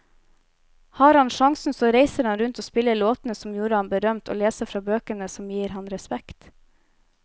Har han sjansen så reiser han rundt og spiller låtene som gjorde ham berømt, og leser fra bøkene som gir ham respekt.